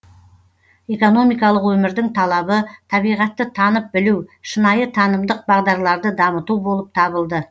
экономикалық өмірдің талабы табиғатты танып білу шынайы танымдық бағдарларды дамыту болып табылды